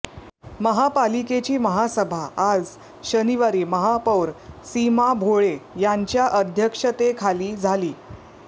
महापालिकेची महासभा आज शनिवारी महापौर सीमा भोळे यांच्या अध्यक्षतेखाली झाली